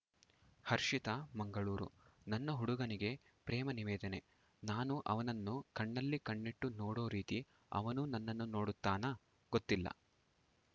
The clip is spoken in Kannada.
ಹರ್ಷಿತಾ ಮಂಗಳೂರು ನನ್ನ ಹುಡುಗನಿಗೆ ಪ್ರೇಮ ನಿವೇದನೆ ನಾನು ಅವನನ್ನು ಕಣ್ಣಲ್ಲಿ ಕಣ್ಣಿಟ್ಟು ನೋಡೋ ರೀತಿ ಅವನೂ ನನ್ನನ್ನು ನೋಡುತ್ತಾನಾ ಗೊತ್ತಿಲ್ಲ